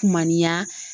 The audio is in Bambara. Kumaniya